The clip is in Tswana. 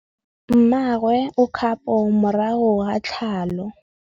Mmagwe o kgapô morago ga tlhalô.